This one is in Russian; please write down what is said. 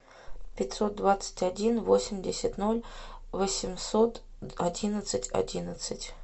пятьсот двадцать один восемьдесят ноль восемьсот одиннадцать одиннадцать